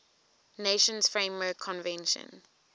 nations framework convention